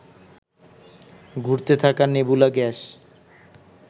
ঘুরতে থাকা nebula gas